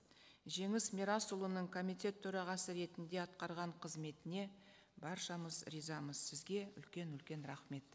жеңіс мирасұлының комитет төрағасы ретінде атқарған қызметіне баршамыз ризамыз сізге үлкен үлкен рахмет